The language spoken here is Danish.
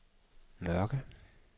Mørke